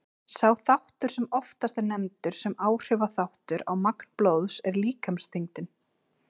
Sá þáttur sem oftast er nefndur sem áhrifaþáttur á magn blóðs er líkamsþyngdin.